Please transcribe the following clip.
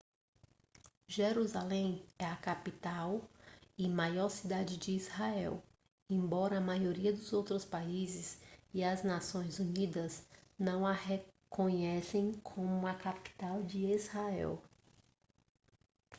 jerusalém é a capital e maior cidade de israel embora a maioria dos outros países e as nações unidas não a reconheçam como a capital de israel